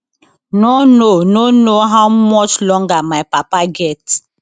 no know no know how much longer my papa get